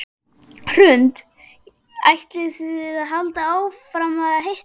Hrund: Og ætlið þið að halda áfram að hittast?